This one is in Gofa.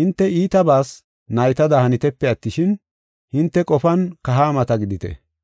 Hinte iitabas naytada hanitepe attishin, hinte qofan kahaamata gidite.